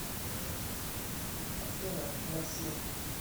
афина мерси